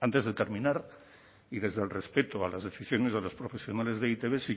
antes de terminar y desde el respeto a las decisiones de los profesionales de e i te be sí